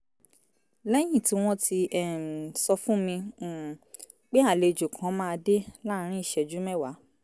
lẹ́yìn tí wọ́n ti um sọ fún mi um pé àlejò kan máa dé láàárín ìṣẹ́jú mẹ́wàá